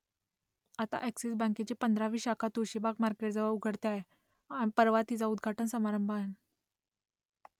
आता अ‍ॅक्सिस बँकेची पंधरावी शाखा तुळशीबाग मार्केटजवळ उघडते आहे परवा तिचा उद्घाटन समारंभ आहे